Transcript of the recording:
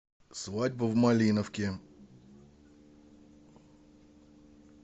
свадьба в малиновке